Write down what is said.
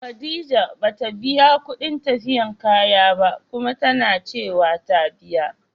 Khadijah bata biya kudin tafiyab kaya ba, Kuma tanacewa ta biya.